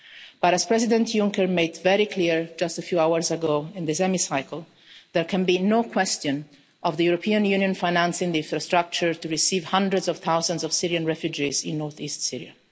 But as President Juncker made very clear just a few hours ago in this Chamber, there can be no question of the European Union financing the infrastructure to receive hundreds of thousands of Syrian refugees in north-east Syria.